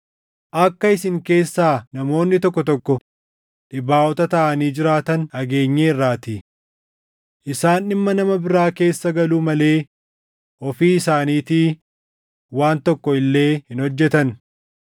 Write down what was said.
Akka isin keessaa namoonni tokko tokko dhibaaʼota taʼanii jiraatan dhageenyeerraatii. Isaan dhimma nama biraa keessa galuu malee ofii isaaniitii waan tokko illee hin hojjetan.